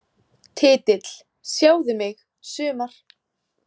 Titill: Sjáðu mig, sumar!